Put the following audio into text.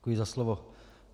Děkuji za slovo.